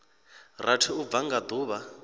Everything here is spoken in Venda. rathi u bva nga duvha